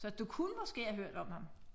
Så du kunne måske have hørt om ham